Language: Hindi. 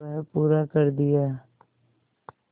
वह पूरा कर दिया